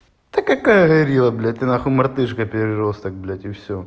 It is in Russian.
ты какая горилла блять ты нахуй мартышка переросток блять и всё